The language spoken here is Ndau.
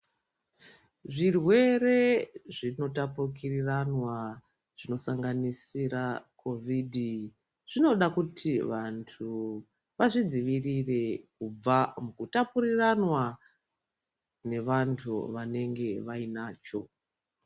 Zvirwere zvinotapukiranwa zvinosanganisira COVID zvinoda kuti vantu vazvidzivirire kubva mukutapuriranwa nevantu vanenge vainacho.